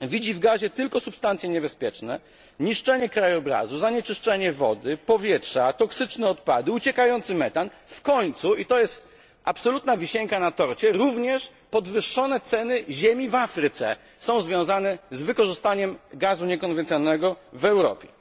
widzi w gazie tylko substancje niebezpieczne, niszczenie krajobrazu, zanieczyszczenie wody, powietrza, toksyczne odpady, uciekający metan, w końcu i to jest absolutna wisienka na torcie również podwyższone ceny ziemi w Afryce są związane z wykorzystaniem gazu niekonwencjonalnego w Europie.